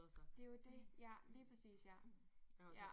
Det jo det. Ja lige præcis ja ja